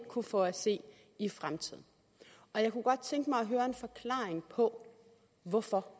kunne få at se i fremtiden og jeg kunne godt tænke mig at høre en forklaring på hvorfor